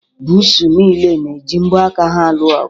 Buusu niile na-eji mbo aka ha alụ ọgụ.